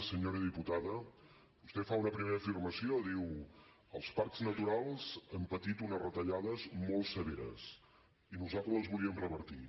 senyora diputada vostè fa una primera afirmació diu els parcs naturals han patit unes retallades molt severes i nosaltres les volíem revertir